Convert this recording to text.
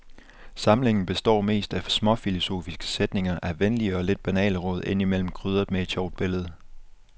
Samlingen betår mest af småfilosofiske sætninger, af venlige og lidt banale råd, indimellem krydret med et sjovt billede.